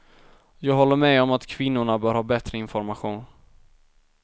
Jag håller med om att kvinnorna bör ha bättre information.